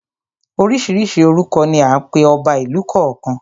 Oríṣiríṣi orúkọ ni à ń pe ọba ìlú kọ̀ọ̀kan.